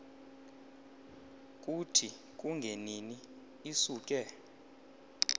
kuthi kungenini isuke